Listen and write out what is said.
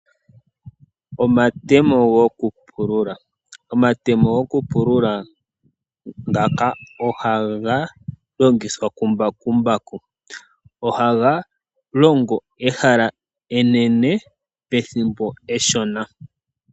Omatemo gokupulula ogaga longithwa kumbakumbaku. Ohaga longo ehala enene pethimbo eshona.